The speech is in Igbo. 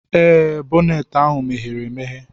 Ee, boneeti ahu meghere-emeghe.